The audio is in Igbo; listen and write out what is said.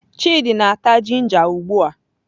Chidi na-ata ginger ugbua.